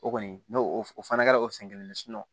O kɔni n'o o fana kɛra o sen kelen